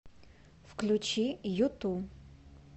включи юту